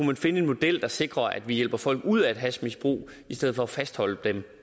man finde en model der sikrer at vi hjælper folk ud af et hashmisbrug i stedet for at fastholde dem